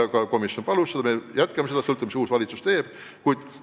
Seda palus ka komisjon ja me jätkame seda, sõltumata sellest, mida uus Läti valitsus teeb.